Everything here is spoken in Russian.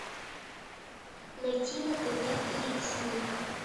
найти на тв флик снип